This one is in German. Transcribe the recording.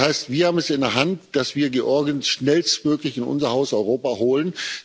Das heißt, wir haben es in der Hand, dass wir Georgien schnellstmöglich in unser Haus Europa holen.